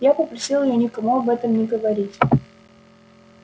я попросил её никому об этом не говорить